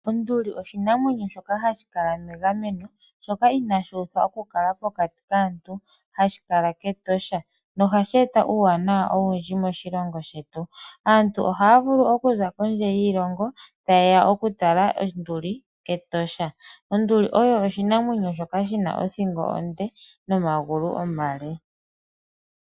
Onduli oshinamwenyo shoka hashi kala megameno shoka inaashi uthwa okukala pokati kaantu hashi kala kEtosha nohashi eta uuwanawa owundji moshilongo shetu. Aantu ohaya vulu okuza kondje yiilongo taye ya okutala onduli kEtosha. Onduli oyo oshinamwenyo shoka shina othingo onde nomagulu omale.